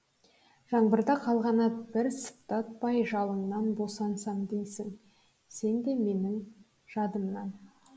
жаңбырда қалған ат бір сыйпатпай жалыңнанбосансам дейсің сен де менің жадымнан